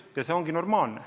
Ja see ongi normaalne.